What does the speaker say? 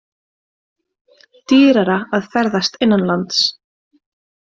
Dýrara að ferðast innanlands